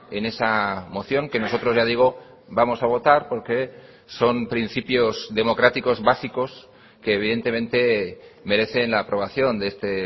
en esa moción que nosotros ya digo vamos a votar porque son principios democráticos básicos que evidentemente merecen la aprobación de este